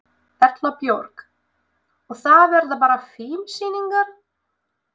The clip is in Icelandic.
Erla Björg: Og það verða bara fimm sýningar?